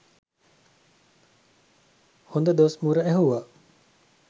හොඳ දොස් මුර ඇහුව.